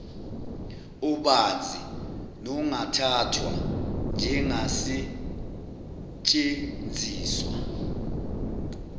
obanzi nongathathwa njengasetshenziswa